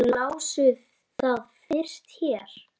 Þið lásuð það fyrst hér!